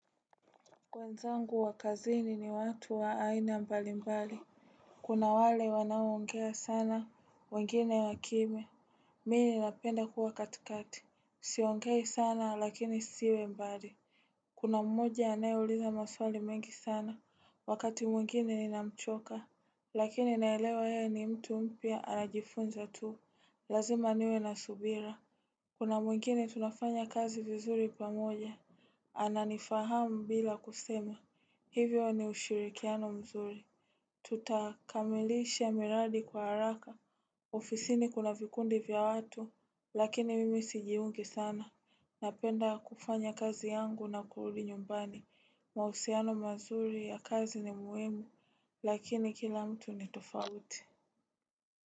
Wenzangu wa kazini ni watu wa aina mbali mbali Kuna wale wanaongea sana, wengine wa kimya Mimi ninapenda kuwa katikati Siongei sana lakini nisiwe mbali Kuna mmoja anayeuliza maswali mengi sana, wakati mwingine ni na mchoka Lakini naelewa yeye ni mtu mpya anajifunza tuu, lazima niwe na subira Kuna mwingine tunafanya kazi vizuri pamoja ana nifahamu bila kusema, hivyo ni ushirikiano mzuri Tutakamilisha miradi kwa haraka, ofisini kuna vikundi vya watu, lakini mimi sijiungi sana Napenda kufanya kazi yangu na kurudi nyumbani, mahusiano mazuri ya kazi ni muhimu, lakini kila mtu ni tofauti.